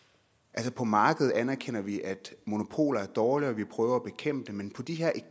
det på markedet anerkender vi at monopoler er dårlige og vi prøver at bekæmpe dem men på de her